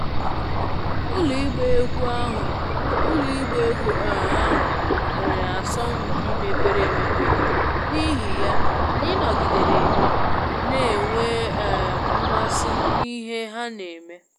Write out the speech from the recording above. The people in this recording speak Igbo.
Ụlọ ịgba egwú um ahụ nwere asọmpi mepere emepe, n'ihi ya, anyị nọgidere na-enwe um mmasị n'ihe ha na-eme